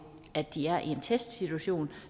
at de er i en testsituation